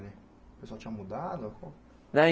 O pessoal tinha mudado?